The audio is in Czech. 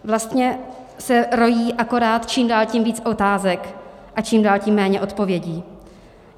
Vlastně se rojí akorát čím dál tím víc otázek a čím dál tím méně odpovědí.